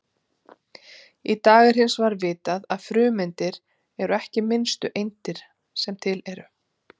Í dag er hins vegar vitað að frumeindir eru ekki minnstu eindir sem til eru.